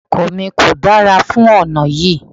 Ọkọ̀ mi kò dára fún ọ̀nà yí.